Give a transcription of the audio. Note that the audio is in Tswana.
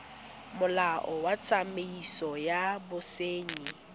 molao wa tsamaiso ya bosenyi